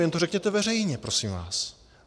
Jen to řekněte veřejně, prosím vás.